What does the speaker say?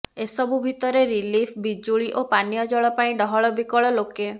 ଏସବୁ ଭିତରେ ରିଲିଫ୍ ବିଜୁଳି ଓ ପାନୀୟ ଜଳ ପାଇଁ ଡହଳ ବିକଳ ଲୋକେ